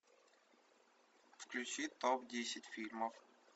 включи топ десять фильмов